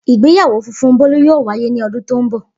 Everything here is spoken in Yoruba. Igbeyawo funfun Bolu yoo waye ni ọdun to nbọ.